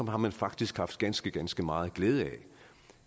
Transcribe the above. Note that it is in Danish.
har man faktisk haft ganske ganske meget glæde